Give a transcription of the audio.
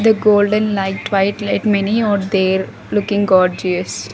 The golden light white light many are there looking gorgeous.